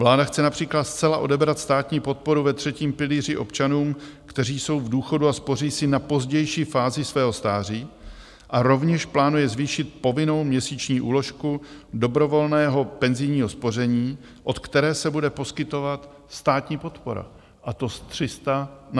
Vláda chce například zcela odebrat státní podporu ve třetím pilíři občanům, kteří jsou v důchodu a spoří si na pozdější fázi svého stáří a rovněž plánuje zvýšit povinnou měsíční úložku dobrovolného penzijního spoření, od které se bude poskytovat státní podpora, a to z 300 na 500 korun.